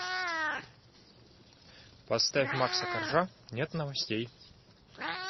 поставь макса коржа нет новостей